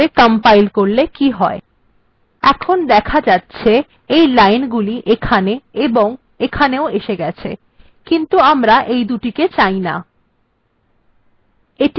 compile করা যাক তাহলে এটি হয়ে গেছে এখন দেখা যাচ্ছে এই লাইনটি এখানে এবং এখানেও এসে গেছে কিন্তু আমরা এটি এবং এটিকে চাই না